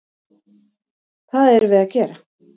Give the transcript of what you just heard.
Það erum við að gera.